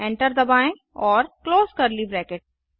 enter दबाएँ और close curly bracket